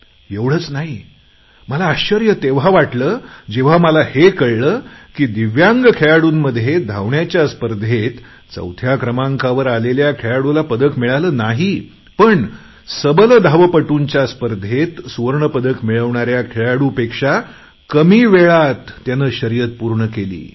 एवढंच नाही मला आश्चर्य तेव्हा वाटले जेव्हा मला हे कळले की दिव्यांग खेळाडूंमध्ये धावण्याच्या स्पर्धेत चौथ्या क्रमांकावर आलेल्या खेळाडूला पदक मिळालं नाही पण सबल धावपटूंच्या स्पर्धेत सुवर्ण पदक मिळवणाऱ्या खेळाडूपेक्षा कमी वेळेत त्याने शर्यत पूर्ण केली